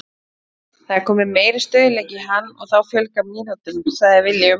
Það er kominn meiri stöðugleiki í hann og þá fjölgar mínútunum, sagði Willum.